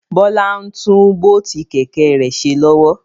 Bọlá ń tún bóótù Kẹ̀kẹ́ rẹ ṣe lọ́wọ́